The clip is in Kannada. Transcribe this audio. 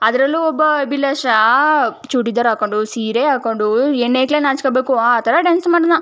ಅದರಲ್ಲೂ ಒಬ್ಬ ಅಭಿಲಾಷ ಚೂಡಿದಾರ ಹಾಕ್ಕೊಂಡು ಸೀರೆ ಹಾಕ್ಕೊಂಡು ಹೆಣ್ಣು ಹೈಕಳೆ ನಾಚ್ ಕೋಬೇಕು ಆ ತರ ಡಾನ್ಸ್ ಮಾಡುದ್ನ .